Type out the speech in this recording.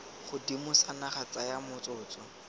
godimo sa naga tsaya motsotso